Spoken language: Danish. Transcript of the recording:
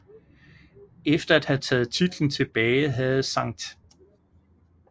Efter at have taget titlen tilbage havde St